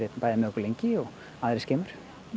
með okkur lengi og aðrir skemur